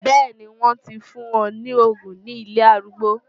Bẹ́ẹ̀ni, wọ́n ti fún wọn ní òògùn ní ilé arúgbó.